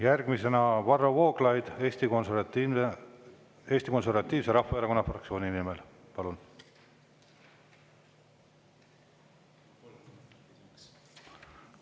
Järgmisena Varro Vooglaid Eesti Konservatiivse Rahvaerakonna fraktsiooni nimel, palun!